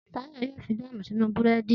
Tayo yóò fi jáàmù sínú búrẹ́dì